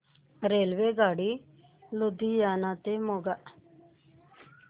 रेल्वेगाडी लुधियाना ते मोगा